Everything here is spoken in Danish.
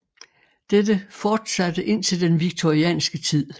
Dette fortsatte indtil den victorianske tid